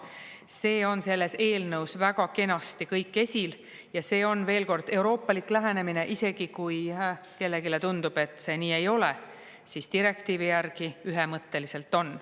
See on selles eelnõus väga kenasti kõik esil ja see on veel kord euroopalik lähenemine, isegi kui kellelegi tundub, et see nii ei ole, siis direktiivi järgi ühemõtteliselt on.